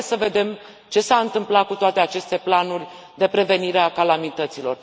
Haideți să vedem ce s a întâmplat cu toate aceste planuri de prevenire a calamităților.